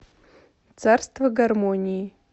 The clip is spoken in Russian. царство гармонии